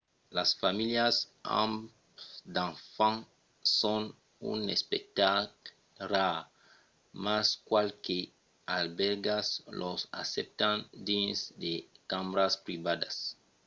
las familhas amb d’enfants son un espectacle rar mas qualques albèrgas los accèptan dins de cambras privadas